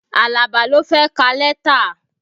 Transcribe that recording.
Alaba ló fẹ́ ka lẹ́tà